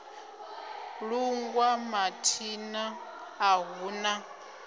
lungwa mathina a hu na